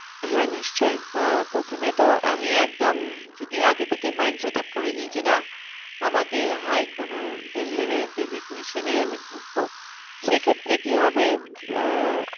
হ্যাঁ নিশ্চই আহ প্রথমে তো আমি একদম যদি আগে থেকে mind set-up করে নি যে না আমাকে high কোনো level এই আমি ঢুকবো সেক্ষেত্রে কি হবে আহ